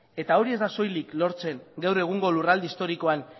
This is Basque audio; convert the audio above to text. eta hori ez da soilik lortzen gaur egungo lurralde historikoen